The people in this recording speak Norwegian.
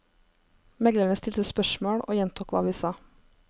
Meglerne stilte spørsmål og gjentok hva vi sa.